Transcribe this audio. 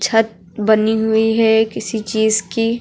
छत बनी हुई है किसी चीज की --